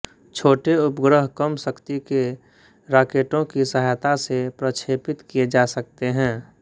छोटे उपग्रह कम शक्ति के राकेटों की सहायता से प्रक्षेपित किये जा सकते हैं